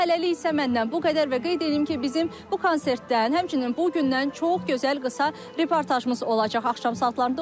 Hələlik isə məndən bu qədər və qeyd eləyim ki, bizim bu konsertdən, həmçinin bu gündən çox gözəl qısa reportajımız olacaq axşam saatlarında.